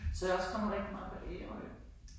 Så jeg også kommet rigtig meget på Ærø